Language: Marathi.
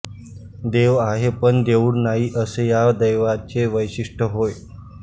देव आहे पण देऊळ नाही असे या देवाचे वैशिष्ट्य होय